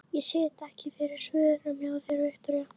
Ég sit ekki fyrir svörum hjá þér, Viktoría.